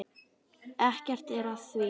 Ekkert er að því.